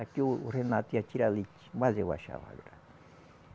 Aqui o o Renato ia tirar leite, mas eu achava graça